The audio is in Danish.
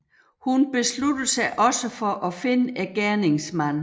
Hun beslutter sig også for at finde gerningsmanden